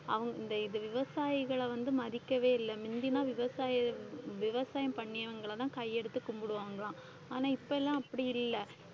அவங்~ இந்த இது விவசாயிகளை வந்து மதிக்கவே இல்லை முந்தின்னா விவசாய~ விவசாயம் பண்ணியவங்களைதான் கையெடுத்து கும்பிடுவாங்களாம், ஆனா இப்ப எல்லாம் அப்படி இல்லை